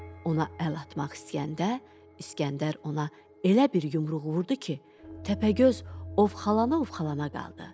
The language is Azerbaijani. Ona əl atmaq istəyəndə İskəndər ona elə bir yumruq vurdu ki, Təpəgöz ovxalana-ovxalana qaldı.